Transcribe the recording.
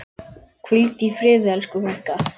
Hvíldu í friði, elsku frænka.